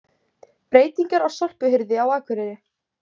Breytingar á sorphirðu á Akureyri